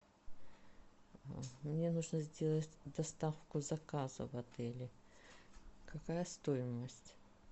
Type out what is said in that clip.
мне нужно сделать доставку заказа в отеле какая стоимость